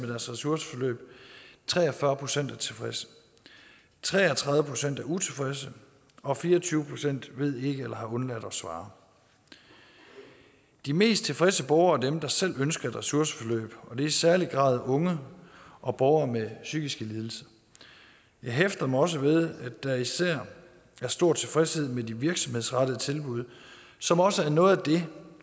ressourceforløb tre og fyrre procent er tilfredse tre og tredive procent er utilfredse og fire og tyve procent ved ikke eller har undladt at svare de mest tilfredse borgere er dem der selv ønsker et ressourceforløb og det er i særlig grad unge og borgere med psykiske lidelser jeg hæfter mig også ved at der især er stor tilfredshed med de virksomhedsrettede tilbud som også er noget af det